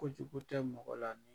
Kote ko tɛ mɔgɔ la